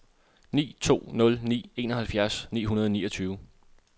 ni to nul ni enoghalvtreds ni hundrede og niogtyve